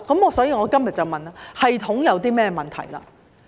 因此，我今天便要問，系統有甚麼問題？